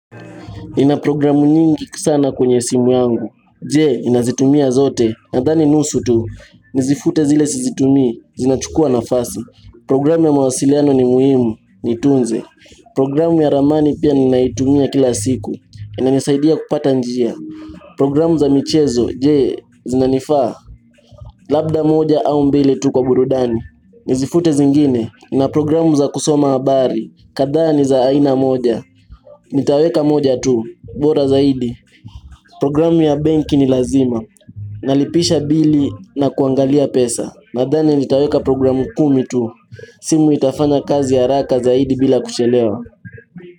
Nina programu nyingi sana kwenye simu yangu, je ninazitumia zote? Nadhani nusu tu, nizifute zile sizitumii zinachukua nafasi, programu ya mawasiliano ni muhimu, nitunze, programu ya ramani pia ninaitumia kila siku, inanisaidia kupata njia, programu za michezo, je zinanifaa? Labda moja au mbili tu kwa burudani, nizifute zingine, Nina programu za kusoma habari, kadhaa ni za aina moja, nitaweka moja tu, bora zaidi, programu ya benki ni lazima Nalipisha bili na kuangalia pesa Nadhani nitaweka programu kumi tu simu itafanya kazi haraka zaidi bila kuchelewa.